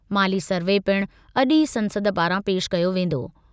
माली सर्वे पिणु अॼु ई संसद पारां पेश कयो वेंदो।